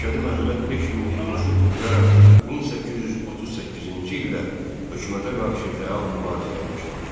Məşədi Məhəmməd 5 minlik qoşun toplayaraq 1838-ci ildə hökumətə qarşı fəal mübarizəyə başladı.